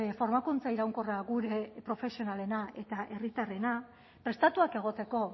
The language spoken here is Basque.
formakuntza iraunkorra gure profesionalena eta herritarrena prestatuak egoteko